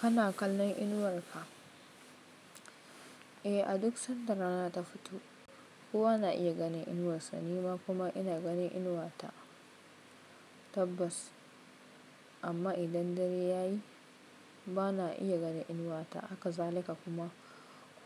Kana kallon inuwar ka? Eh, a duk sanda rana ta fito kowa na iya ganin inuwarsa, nima kuma ina ganin inuwata, tabbas. Amma idan dare ya yi bana iya ganin inuwata, haka zalika kuma